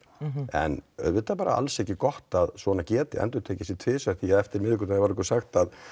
en auðvitað alls ekki gott að svona geti endurtakið sig tvisvar því eftir miðvikudaginn var okkur sagt að